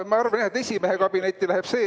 No ma arvan jah, et esimehe kabinetti läheb see.